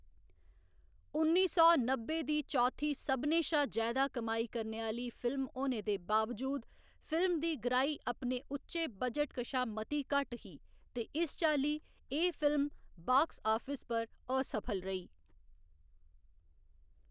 उन्नी सौ नब्बै दी चौथी सभनें शा जैदा कमाई करने आह्‌ली फिल्म होने दे बावजूद, फिल्म दी ग्राही अपने उच्चे बजट कशा मती घट्ट ही ते इस चाल्ली, एह् फिल्म बाक्स आफस पर असफल रेही।